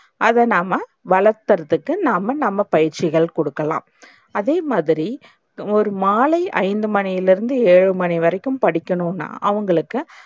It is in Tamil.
அத நாம்ம வளக்குறதுக்கு நாம்ம நம்ம பயிற்ச்சிகள் குடுக்கலாம். அதேமாதிரி ஒரு மாலை ஐந்து மணில இருந்து ஏழு மணி வரைக்கும் படிக்கணும்ன அவங்களுக்கு